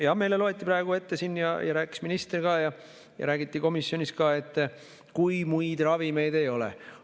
Jah, meile loeti siin ette ja rääkis minister ja räägiti komisjonis ka, et kui muid ravimeid ei ole.